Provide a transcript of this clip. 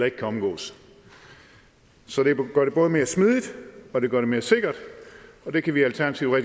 ikke kan omgås så det gør det både mere smidigt og det gør det mere sikkert og det kan vi i alternativet